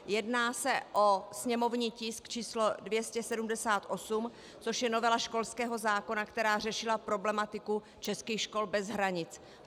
Jedná se o sněmovní tisk číslo 278, což je novela školského zákona, která řešila problematiku českých škol bez hranic.